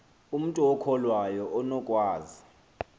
umntu okholwayo unokwazi